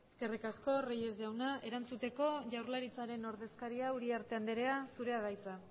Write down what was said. eskerrik asko reyes jauna erantzuteko jaurlaritzaren ordezkaria uriarte anderea zure da hitza